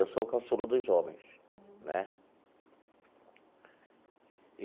Eu sou o caçula dos homens, né?